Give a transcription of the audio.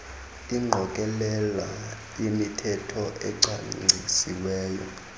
ingqokelela yemithetho ecwangcisiweyo